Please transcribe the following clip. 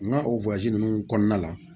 N ka o ninnu kɔnɔna la